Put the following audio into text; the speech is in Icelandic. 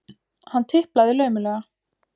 Hann tiplaði laumulega.